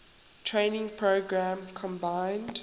training program combined